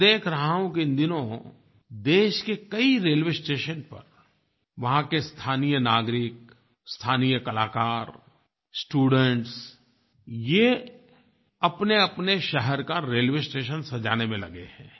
मैं देख रहा हूँ कि इन दिनों देश के कई रेलवे स्टेशन पर वहाँ के स्थानीय नागरिक स्थानीय कलाकार स्टूडेंट्स ये अपनेअपने शहर का रेलवे स्टेशन सजाने में लगे हैं